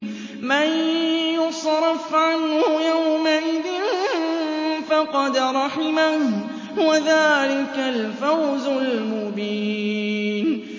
مَّن يُصْرَفْ عَنْهُ يَوْمَئِذٍ فَقَدْ رَحِمَهُ ۚ وَذَٰلِكَ الْفَوْزُ الْمُبِينُ